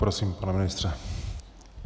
Prosím, pane ministře.